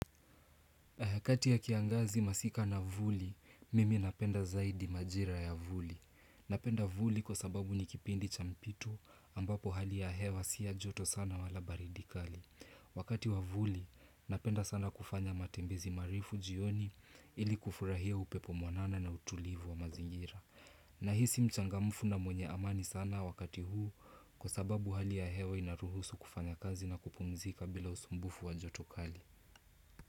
Kati ya kiangazi masika na vuli, mimi napenda zaidi majira ya vuli. Napenda vuli kwa sababu ni kipindi cha mpitu ambapo hali ya hewa si ya joto sana wala baridi kali. Wakati wa vuli, napenda sana kufanya matembezi marefu jioni ili kufurahia upepo mwanana na utulivu wa mazingira. Nahisi mchangamufu na mwenye amani sana wakati huu kwa sababu hali ya hewa inaruhusu kufanya kazi na kupumzika bila usumbufu wa joto kali.